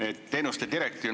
Hea minister!